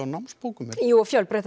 námsbókum jú og fjölbreytt